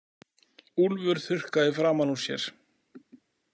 Úlfur þurrkaði framan úr sér.